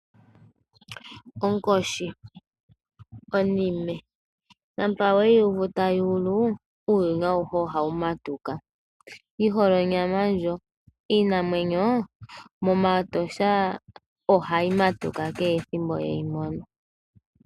Okoshi, Onime, shapa weyuvu tayulu uuyuni awuhe ohawumatuka, yihole onyama ndjo, Iinamwenyo momatosha ohayi matuka kehe ethimbo yeyimono.